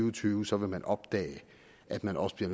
og tyve så vil opdage at man også bliver